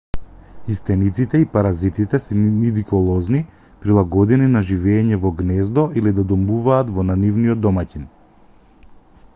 и стениците и паразитите се нидиколозни прилагодени на живеење во гнездо или да домуваат на нивниот домаќин